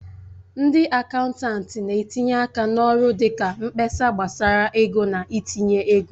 Ndị akaụntanti na-etinye aka n'ọrụ dị ka mkpesa gbasara ego na itinye ego.